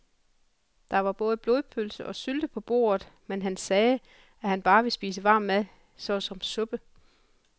Der var både blodpølse og sylte på bordet, men han sagde, at han bare ville spise varm mad såsom suppe.